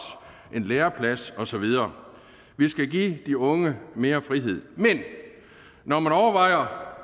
en læreplads og så videre vi skal give de unge mere frihed men når man overvejer